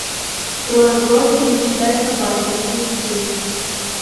трое в лодке не считая собаки найти